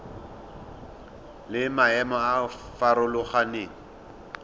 le maemo a a farologaneng